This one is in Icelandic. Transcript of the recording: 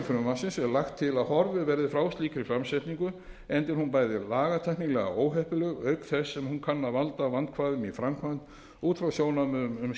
frumvarpsins er lagt til að horfið verði frá slíkri framsetningu enda er hún bæði lagatæknilega óheppileg auk þess sem hún kann að valda vandkvæðum í framkvæmd út frá sjónarmiðum um